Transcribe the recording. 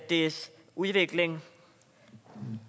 dets udvikling